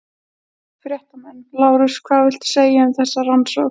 Fréttamenn: Lárus hvað viltu segja um þessa rannsókn?